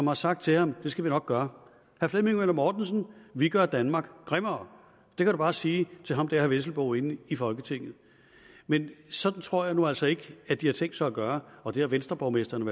har sagt til ham at det skal de nok gøre herre flemming møller mortensen vi gør danmark grimmere det kan du bare sige til ham der herre vesselbo inde i folketinget men sådan tror jeg nu altså ikke at de har tænkt sig at gøre og det har venstreborgmestrene